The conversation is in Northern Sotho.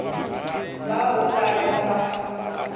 bao o ka rego ba